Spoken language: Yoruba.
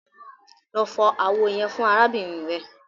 Lọ fọ awo yẹn fun arabinrin rẹ!